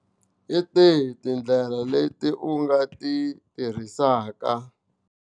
Hi tihi tindlela leti u nga ti tirhisaka.